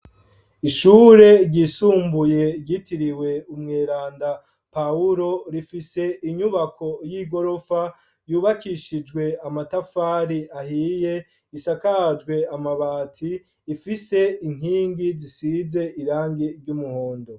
Ishure ryisumbuye, ryitiriwe umweranda Pawuro, rifise inyubako y'igorofa, yubakishijwe amatafari ahiye, isakajwe amabati; ifise inkingi, zisize irangi ry'umuhondo.